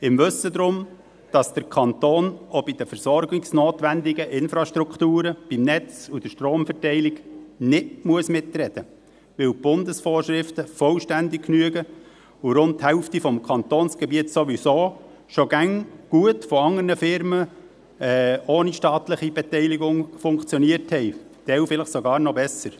Im Wissen darum, dass der Kanton auch bei den versorgungsnotwendigen Infrastrukturen – beim Netz und der Stromverteilung – nicht mitreden muss, weil die Bundesvorschriften vollständig genügen und rund die Hälfte des Kantonsgebiets sowieso schon immer gut mit anderen Firmen ohne staatliche Beteiligung funktioniert hat, mit einigen vielleicht sogar noch besser.